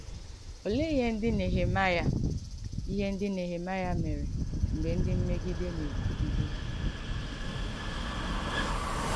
Òleè ìhé ndí Nèhèmàịà ìhé ndí Nèhèmàịà mèrè mgbè ndí mmègìdè na-èkwùgìdè hà?